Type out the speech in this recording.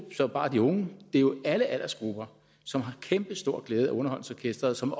bare de unge det er jo alle aldersgrupper som har kæmpestor glæde af underholdningsorkestret som